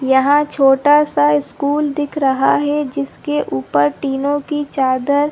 यहाँ छोटा सा स्कूल दिख रहा है जिसके ऊपर टीनो की चादर --